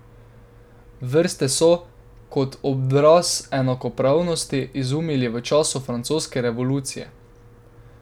Vrste so, kot odraz enakopravnosti, izumili v času francoske revolucije.